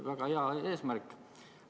Väga hea eesmärk!